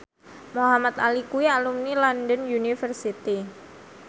Muhamad Ali kuwi alumni London University